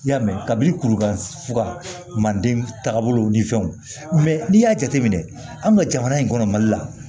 I y'a mɛn kabi kuru kan fuga majigin taagabolo ni fɛnw n'i y'a jateminɛ an ka jamana in kɔnɔ mali la